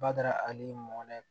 Bada hali mɔkɛ